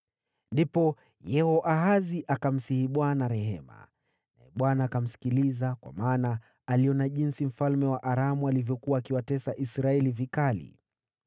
Ndipo Yehoahazi akamsihi Bwana rehema, naye Bwana akamsikiliza, kwa maana aliona jinsi mfalme wa Aramu alivyokuwa akiwatesa Israeli vikali.